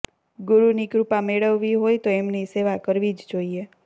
ગુરૂની કૃપા મેળવવી હોય તો એમની સેવા કરવી જ જોઈએ